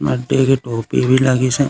मडडे के टोपी भी लगिसे।